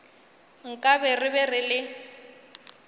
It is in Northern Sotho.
nkabe re be re le